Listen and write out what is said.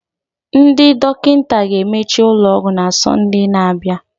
Ndị dọkịta ga-emechi ụlọ ọgwụ na Sọnde na-abịa